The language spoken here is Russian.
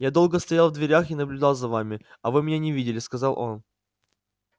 я долго стоял в дверях и наблюдал за вами а вы меня не видели сказал он